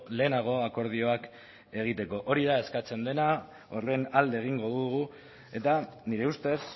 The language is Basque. lehenago akordioak egiteko hori da eskatzen dena horren alde egingo dugu eta nire ustez